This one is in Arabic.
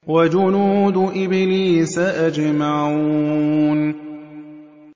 وَجُنُودُ إِبْلِيسَ أَجْمَعُونَ